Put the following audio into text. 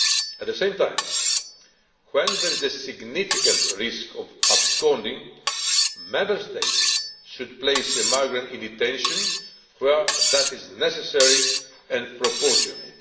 At the same time, when there is a significant risk of absconding, a Member State should place a migrant in detention where that is necessary and proportionate.